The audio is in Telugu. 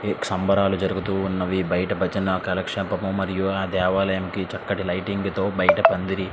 సంబురాలు జరుగుతూ ఉన్నావి బయట బజన కాలక్షేపము మరియు ఆ దేవా లాయానికి చక్కటి లైటింగ్ తో బయట పందిరి.